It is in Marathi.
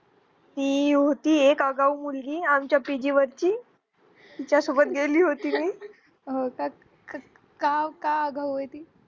ती होती एक आगाव मुलगी आमच्या PG वरची तिच्यासोबत गेली होती मी अं काव काव